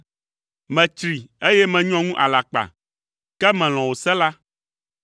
Metsri, eye menyɔ ŋu alakpa, ke melɔ̃ wò se la.